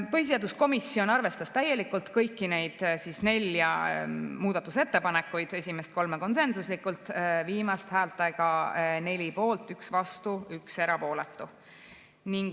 Põhiseaduskomisjon arvestas täielikult kõiki nelja muudatusettepanekut, esimest kolme konsensuslikult, viimast häältega 4 poolt, 1 vastu, 1 erapooletu.